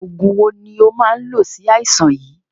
Oògùn wo ni ó máa ń lò si aisan yìí?